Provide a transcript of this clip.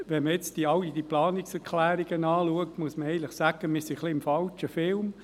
Wenn man sich all diese Planungserklärungen anschaut, muss man sagen, man befindet sich ein wenig im falschen Film.